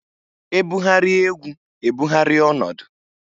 E bugharịa egwu e bugharịa ọnọdụ.